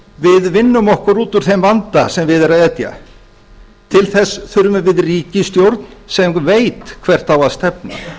við vinnum okkur út úr þeim vanda sem við er að etja til þess þurfum við ríkisstjórn sem veit hvert á að stefna